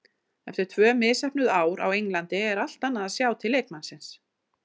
Eftir tvö misheppnuð ár á Englandi er allt annað að sjá til leikmannsins.